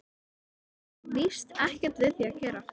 Það er víst ekkert við því að gera.